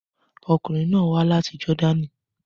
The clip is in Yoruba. Ọkunrin naa wa lati Jordani